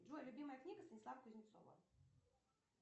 джой любимая книга станислава кузнецова